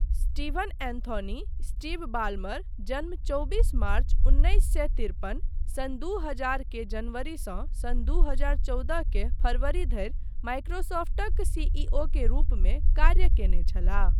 Steven Anthony Steve Ballmer, जन्म चौबिस मार्च उन्नैस सए तिरपन, सन् दू हजार के जनवरीसँ सन् दू हजार चौदह के फरबरी धरि माइक्रोसफ्टक सिइओक रुपमे कार्य कयने छलाह।